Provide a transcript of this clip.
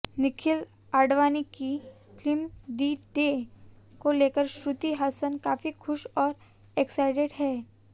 निखिल आडवाणी की film D day को लेकर श्रुति हासन काफी खुश और एक्साइटेड हैं